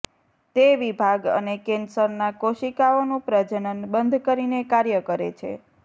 તે વિભાગ અને કેન્સરના કોશિકાઓનું પ્રજનન બંધ કરીને કાર્ય કરે છે